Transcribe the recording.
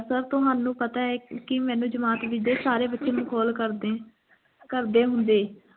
sir ਤੁਹਾਨੂੰ ਪਤਾ ਹੈ ਕੀ ਮੈਨੂੰ ਜਮਾਤ ਵਿਚ ਸਾਰੇ ਬੱਚੇ ਮਖੌਲ ਕਰਦੇ ਕਰਦੇ ਹੁੰਦੇ